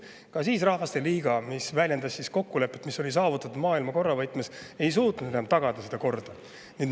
mis väljendas saavutatud kokkulepet maailmakorra võtmes, ka ei suutnud enam tagada seda korda.